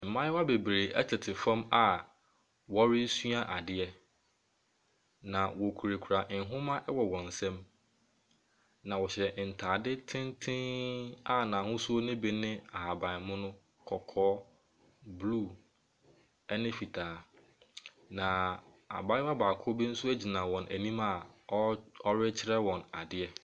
Mmaayewa bebree tete fam a wɔresua adeɛ. Na wokurakura nwoma wɔ wɔn nsa mu. Na wɔhyɛ ntaade tenten a n’ashosuo ne bi ne ahabanmono, kɔkɔɔ, blue ne fitaa. Na abaayewa baako gyina wɔn anim a ɔre ɔrekyerɛ wɔn adeɛ.